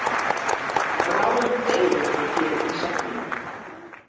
Bráðum deyr einhver hér í safninu!